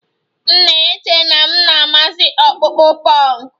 M na-eche na m na-amasị akpụkpọ punk